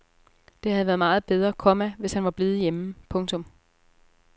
Det havde været meget bedre, komma hvis han var blevet hjemme. punktum